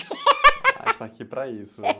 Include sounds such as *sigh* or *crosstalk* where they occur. *laughs* gente está aqui para isso.